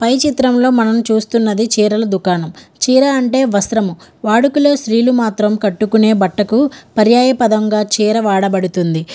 పై చిత్రం లో మనము చూస్తున్నది చీరల దుకాణము. చీర అంటే వస్త్రము. వాడుకులే స్త్రీలు మాత్రం కట్టుకునే బట్టకు పర్యాయపదంగా చీర వాడబడుతుంది.